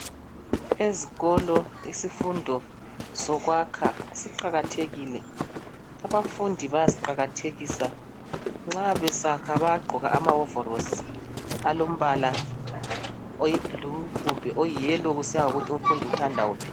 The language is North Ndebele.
Ezikolo isifundo sokwakha siqakathelil. Abafundi bayasiqakathekisa .Nxa besakha bayaqgoka amahovorosi alombala oyi blue kumbe oyi yellow kusiya ngokuthi umfundi uthanda wuphi.